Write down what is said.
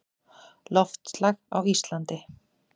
Loftslag á Íslandi